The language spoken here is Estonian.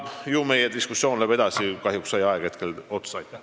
Ju meie diskussioon läheb edasi, kahjuks sai aeg hetkel otsa.